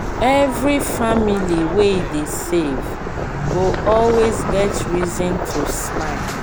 every family wey dey save go always get reason to smile.